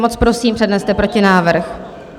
Moc, prosím, předneste protinávrh.